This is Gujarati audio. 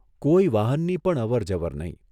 કોઇ વાહનની પણ અવર જવર નહીં.